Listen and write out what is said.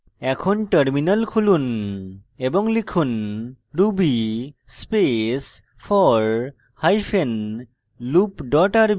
এখন terminal খুলুন এবং লিখুন ruby space for hyphen loop dot rb